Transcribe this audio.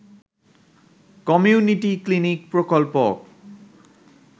community clinic প্রকল্প